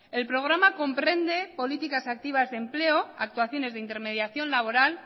el programa comprende políticas activas de empleo actuaciones de intermediación laboral